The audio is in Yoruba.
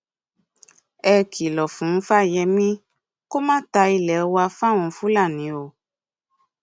ẹ kìlọ fún fáyemí kó má ta ilé wa fáwọn fúlàní o